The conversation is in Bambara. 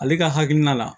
Ale ka hakilina la